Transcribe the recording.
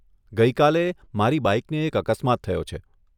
ગઇ કાલે, મારી બાઈકને એક અકસ્માત થયો છે.